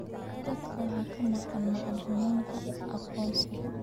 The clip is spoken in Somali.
Dadka waxaa ka maqan macluumaadka aqoonsiga.